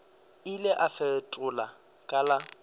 ile a fetola ka la